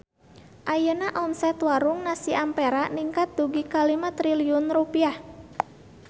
Ayeuna omset Warung Nasi Ampera ningkat dugi ka 5 triliun rupiah